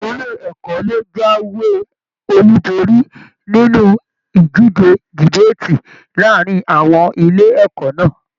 Ilé ẹ̀kọ́ lo jáwé olú borí nínú ìdíje debaati láàrín àwọn ilé ẹ̀kọ́ náà.